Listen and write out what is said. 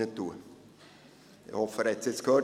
Ich hoffe, er hat es jetzt gehört.